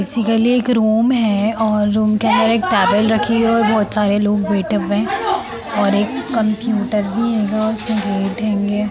इसी के लिए एक रूम है और रूम के अंदर एक टावेल रखी है और बहोत सारे लोग बेढ़े हुए हैं और एक कंप्युटर भी हेगा उसमे गेट हेंगे।